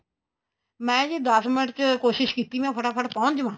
ਮੈਂ ਜੀ ਦੱਸ ਮਿੰਟ ਚ ਕੋਸ਼ਿਸ਼ ਕੀਤੀ ਮੈਂ ਫਟਾਫਟ ਪਹੁੰਚ ਜਾਵਾ